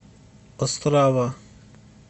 острава